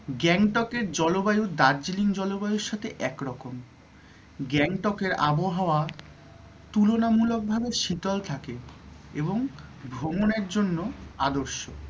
গ্যাংটক এর জলবায়ু দার্জিলিং এর জলবায়ুর সাথে একরকম গ্যাংটক এর আবহাওয়া তুলনামূলক ভাবে শীতল থাকে এবং ভ্রমণের জন্য আদর্শ